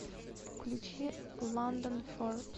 включи ландон форбс